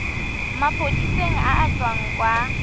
maphodiseng a a tswang kwa